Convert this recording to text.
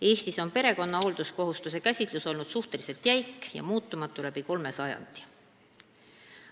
Eestis on perekonna hoolduskohustuse käsitlus olnud suhteliselt jäik ja muutumatu läbi kolme sajandi.